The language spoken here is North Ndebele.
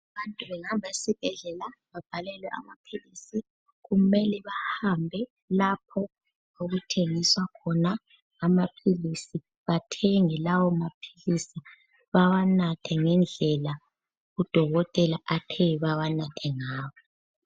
Abantu bengahamba esibhedlela babhalelwe amaphilisi, kumele bahambe lapho okuthengiswa khona amaphilisi, bathenge lawo maphilisi bawanathe ngendlela udokotela athe bawanathe ngawo.